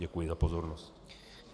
Děkuji za pozornost.